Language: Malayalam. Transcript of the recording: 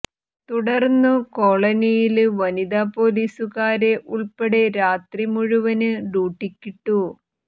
തുടര്ന്നു കോളനിയില് വനിതാ പൊലീസുകാരെ ഉള്പ്പെടെ രാത്രി മുഴുവന് ഡ്യൂട്ടിക്കിട്ടു